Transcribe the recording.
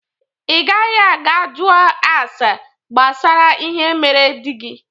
Ị gaghị aga jụọ ase gbasara ihe mere dị gi!